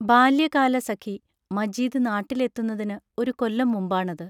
ബാല്യകാലസഖി മജീദ് നാട്ടിൽ എത്തുന്നതിന് ഒരു കൊല്ലം മുമ്പാണത്.